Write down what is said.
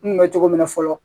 N kun bɛ cogo min na fɔlɔ